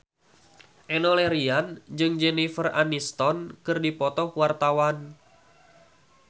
Enno Lerian jeung Jennifer Aniston keur dipoto ku wartawan